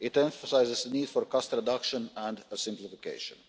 It emphasises the need for cost reduction and a simplification.